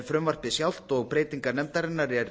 frumvarpið sjálft og breytingar nefndar er